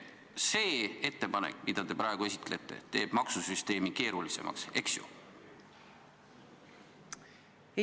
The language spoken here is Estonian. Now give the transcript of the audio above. See ettepanek, mida te praegu esitlete, teeb maksusüsteemi keerulisemaks, eks ju?